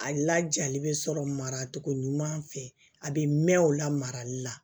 A lajali bɛ sɔrɔ maracogo ɲuman fɛ a bɛ mɛn o la marali la